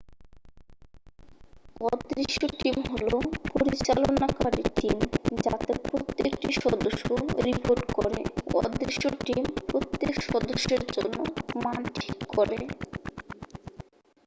"""অদৃশ্য টিম" হল পরিচালনকারী টিম যাতে প্রত্যেকটি সদস্য রিপোর্ট করে। অদৃশ্য টিম প্রত্যেক সদস্যের জন্য মান ঠিক করে।